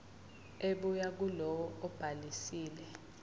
ebuya kulowo obhalisile